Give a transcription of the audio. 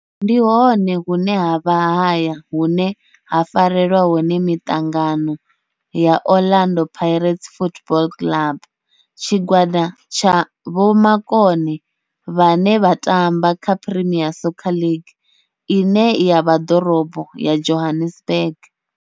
Ndi hone hune havha haya hune ha farelwa hone mitangano ya Orlando Pirates Football Club. Tshigwada tsha vhomakone vhane vha tamba kha Premier Soccer League ine ya vha Dorobo ya Johannesburg.